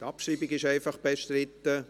Die Abschreibung ist einfach bestritten.